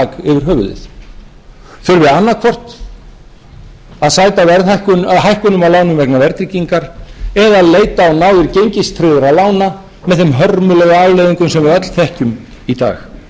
höfuðið þurfi annaðhvort að sæta hækkunum á lánum vegna verðtryggingar eða leita á náðir gengistryggðra lána með þeim hörmulegu afleiðingum sem við öll þekkjum í dag